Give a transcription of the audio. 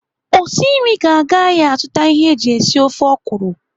Osi nri ga-aga ahịa azụta ihe anyị ji esi ofe ọkwụrụ.